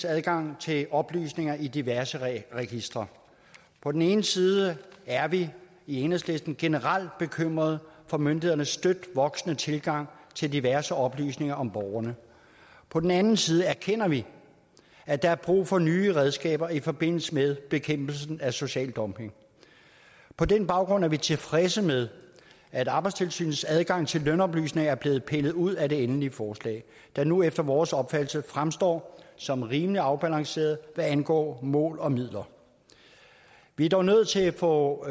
adgang til oplysninger i diverse registre på den ene side er vi i enhedslisten generelt bekymrede for myndighedernes støt voksende tilgang til diverse oplysninger om borgerne på den anden side erkender vi at der er brug for nye redskaber i forbindelse med bekæmpelsen af social dumping på den baggrund er vi tilfredse med at arbejdstilsynets adgang til lønoplysninger er blevet pillet ud af det endelige forslag der nu efter vores opfattelse fremstår som rimelig afbalanceret hvad angår mål og midler vi er dog nødt til at få